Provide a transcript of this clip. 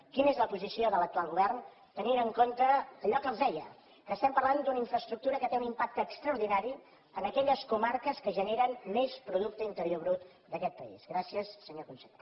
quina és la posició de l’actual govern tenint en compte allò que els deia que parlem d’una infraestructura que té un impacte extraordinari en aquelles comarques que generen més producte interior brut d’aquest país gràcies senyor conseller